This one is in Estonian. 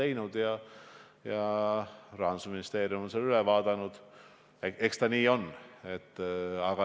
Minu küsimus ei ole õiglase ülemineku fondi kohta.